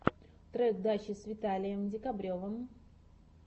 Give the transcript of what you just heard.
трек дачи с виталием декабревым